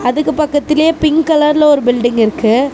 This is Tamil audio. அதுக்கு பக்கத்துலியே பிங்க் கலர்ல ஒரு பில்டிங் இருக்கு.